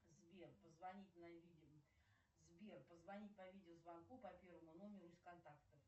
сбер позвонить по видеозвонку по первому номеру из контактов